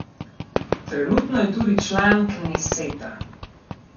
Trenutno je tudi član kneseta.